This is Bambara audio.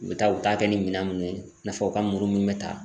U bɛ taa, u bɛ taa kɛ ni minɛn munnu ye, i n'a fɔ u ka muru mun bɛ ta.